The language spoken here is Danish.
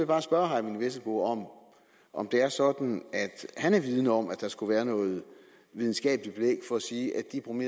bare spørge herre eyvind vesselbo om om det er sådan at han er vidende om at der skulle være noget videnskabeligt belæg for at sige